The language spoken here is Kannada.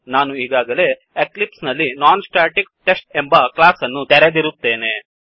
ನಾನು ಈಗಾಗಲೇ ಎಕ್ಲಿಪ್ಸ್ ನಲ್ಲಿNonStaticTestನಾನ್ ಸ್ಟ್ಯಾಟಿಕ್ಟೆ್ಸ್ಟ್ ಎಂಬ ಕ್ಲಾಸ್ ಅನ್ನು ತೆರೆದಿರುತ್ತೇನೆ